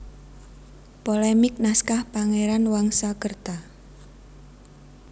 Polemik Naskah Pangeran Wangsakerta